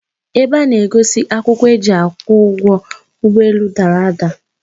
Ebe a na-egosi akwụkwọ eji kwụọ ụgwọ ụgbọelu dara ada.